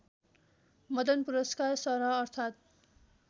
मदन पुरस्कार सरह अर्थात्